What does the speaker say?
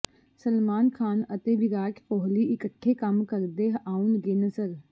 ਸਲਮਾਨ ਖ਼ਾਨ ਅਤੇ ਵਿਰਾਟ ਕੋਹਲੀ ਇਕੱਠੇ ਕੰਮ ਕਰਦੇ ਆਉਣਗੇ ਨਜ਼ਰ